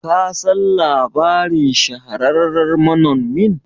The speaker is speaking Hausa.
kasan labarin shahararren manonmin?